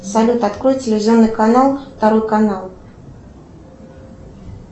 салют открой телевизионный канал второй канал